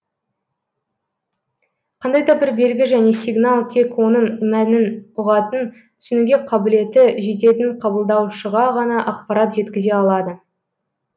қандай да бір белгі және сигнал тек оның мәнін ұғатын түсінуге қабілеті жететін қабылдаушыға ғана ақпарат жеткізе алады